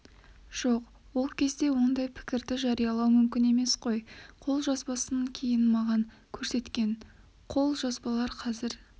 жоқ ол кезде ондай пікірді жариялау мүмкін емес қой қолжазбасын кейін маған көрсеткен көп қағаздары қазір